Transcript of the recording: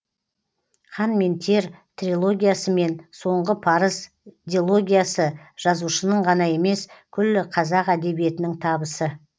қан мен тер трилогиясы мен соңғы парыз дилогиясы жазушының ғана емес күллі қазақ әдебиетінің табысы